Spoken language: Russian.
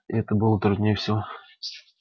и это было труднее всего